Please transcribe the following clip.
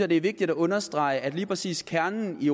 det er vigtigt at understrege at lige præcis kernen i